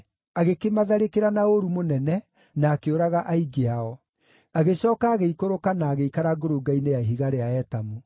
Agĩkĩmatharĩkĩra na ũũru mũnene na akĩũraga aingĩ ao. Agĩcooka agĩikũrũka na agĩikara ngurunga-inĩ ya ihiga rĩa Etamu.